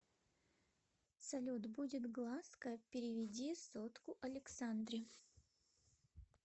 салют будет глазка переведи сотку александре